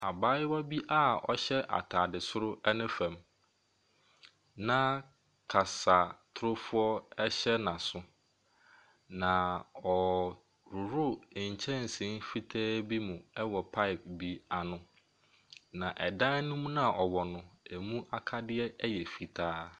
Abaayewa bi a ɔhyɛ ataade doro ne fam, na kasatorofoɔ ɛhyɛ n’asom. Na ɔrehohoro nkyɛnse ketewa bi mu wɔ paepo ano. Na dan ne mu no a ɔwɔ no, ɛmu akadeɛ yɛ fitaa.